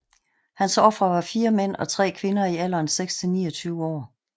Hans ofre var 4 mænd og 3 kvinder i alderen 16 til 29 år